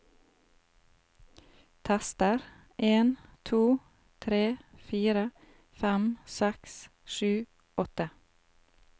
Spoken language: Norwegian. Tester en to tre fire fem seks sju åtte